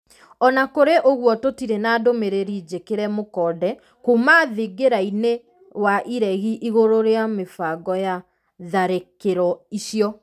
Ona kũrĩ ũguo tũtirĩ na ndũmĩrĩri njĩkire mũkonde kuma thingirainĩ wa iregi igũrũ rĩa mĩbango ya tharĩkĩro icio.